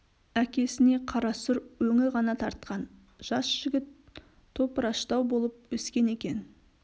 әкесіне қара сұр өңі ғана тартқан жас жігіт топыраштау болып өскен екен